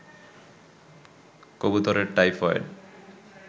কবুতরের টাইফয়েড